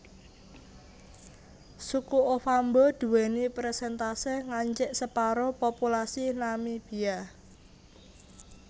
Suku Ovambo duwèni persèntase ngancik separo populasi Namibia